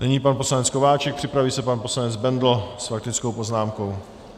Nyní pan poslanec Kováčik, připraví se pan poslanec Bendl s faktickou poznámkou.